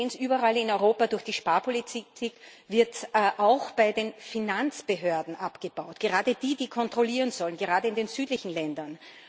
Wir sehen es überall in Europa Durch die Sparpolitik wird auch bei den Finanzbehörden abgebaut, gerade bei denjenigen, die kontrollieren sollen, gerade in den südlichen Ländern.